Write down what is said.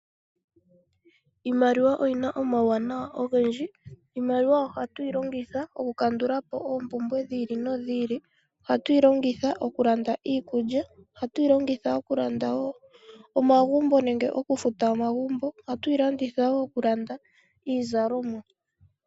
Iimaliwa oyina omawunawa ogendji. Iimaliwa ohatuyi longitha oku kandulapo oompumbwe dhi ili nodhi ili. Ohatuyi longitha oku landa iikulya. Ohatuyi longitha okulanda nenge okufuta omagumbo . Oha tuyi longitha woo okulanda iizalomwa.